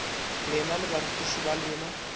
lena le barutiši ba lena